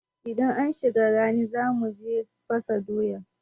Idan an shiga rani za mu je fasa doya.